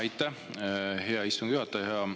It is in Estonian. Aitäh, hea istungi juhataja!